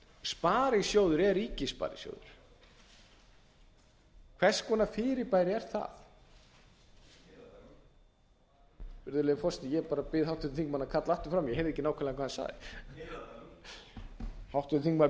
sparisjóður er ríkissparisjóður hvers konar fyrirbæri er það virðulegur forseti ég bara bið háttvirtan þingmann að kalla aftur fram í ég heyrði ekki nákvæmlega hvað hann sagði háttvirtur þingmaður